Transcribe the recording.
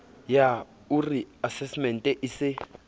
yah ore asasemente e se